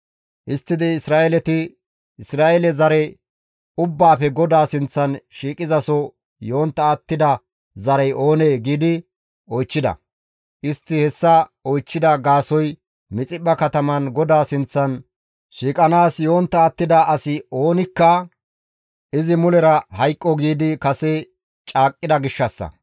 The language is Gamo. Histtidi Isra7eeleti, «Isra7eele zare ubbaafe GODAA sinththan shiiqizaso yontta attida zarey oonee?» giidi oychchida. Istti hessa oychchida gaasoykka Mixiphpha kataman GODAA sinththan shiiqanaas yontta attida asi oonikka, «Izi mulera hayqqo» giidi kase caaqqida gishshassa.